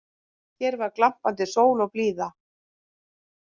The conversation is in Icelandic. Hér var glampandi sól og blíða